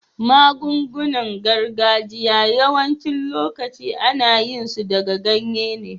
Magun-gunan gargajiya yawacin lokatai an yi su daga ganye ne.